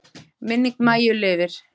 Minning Maju lifir.